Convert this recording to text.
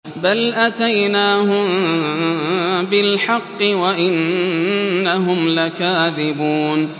بَلْ أَتَيْنَاهُم بِالْحَقِّ وَإِنَّهُمْ لَكَاذِبُونَ